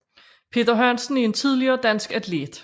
Peter Hansen er en tidligere dansk atlet